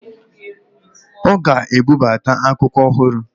Ọ ga-ebubata akwa ọhụrụ